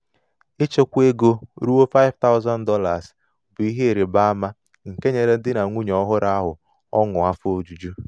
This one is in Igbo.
ichekwa ego ruo $5000 bụ ihe ịrabaama nke nyere um di na nwunye ọhụrụ ahụ ọṅụ afọ um ojuju.